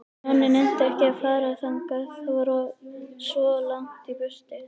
Nonni nennti ekki að fara þangað, það var svo langt í burtu.